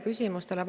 Suur tänu!